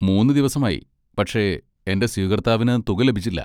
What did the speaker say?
മൂന്ന് ദിവസമായി, പക്ഷേ എന്റെ സ്വീകർത്താവിന് തുക ലഭിച്ചില്ല.